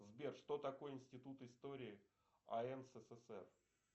сбер что такое институт истории ан ссср